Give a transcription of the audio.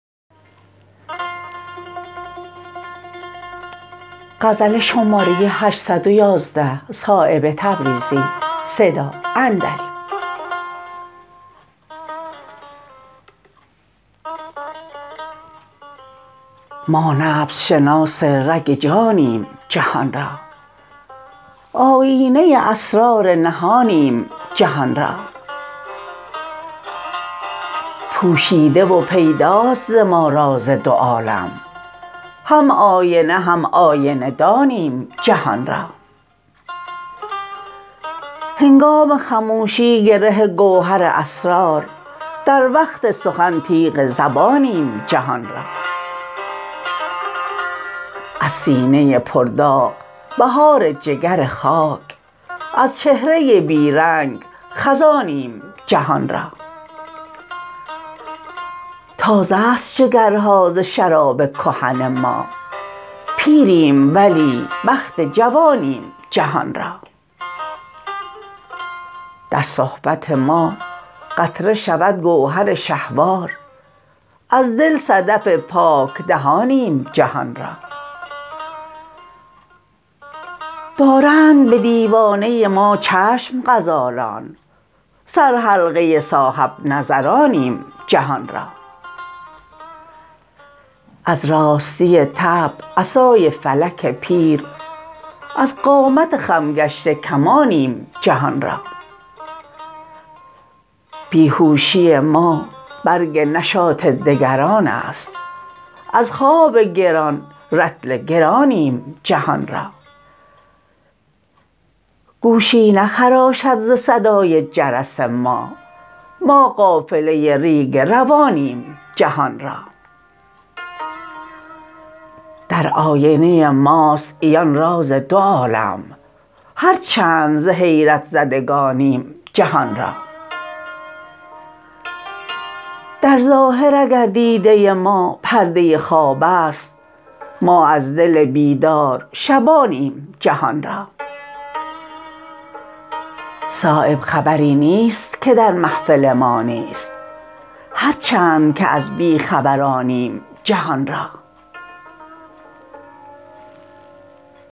ما نبض شناس رگ جانیم جهان را آیینه اسرار نهانیم جهان را پوشیده و پیداست ز ما راز دو عالم هم آینه هم آینه دانیم جهان را هنگام خموشی گره گوهر اسرار در وقت سخن تیغ زبانیم جهان را از سینه پر داغ بهار جگر خاک از چهره بی رنگ خزانیم جهان را تازه است جگرها ز شراب کهن ما پیریم ولی بخت جوانیم جهان را در صحبت ما قطره شود گوهر شهوار از دل صدف پاک دهانیم جهان را دارند به دیوانه ما چشم غزالان سر حلقه صاحب نظرانیم جهان را از راستی طبع عصای فلک پیر از قامت خم گشته کمانیم جهان را بیهوشی ما برگ نشاط دگران است از خواب گران رطل گرانیم جهان را گوشی نخراشد ز صدای جرس ما ما قافله ریگ روانیم جهان را در آینه ماست عیان راز دو عالم هر چند ز حیرت زدگانیم جهان را در ظاهر اگر دیده ما پرده خواب است ما از دل بیدار شبانیم جهان را صایب خبری نیست که در محفل ما نیست هر چند که از بیخبرانیم جهان را